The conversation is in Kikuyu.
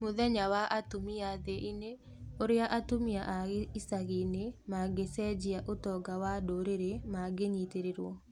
Mũthenya wa atumia thĩ-inĩ: ũrĩa atumia a icagi-inĩ mangĩcenjia ũtonga wa ndũrĩrĩ mangĩnyitĩrĩrwo.